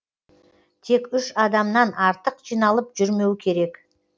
тек үш адамнан артық жиналып жүрмеу керек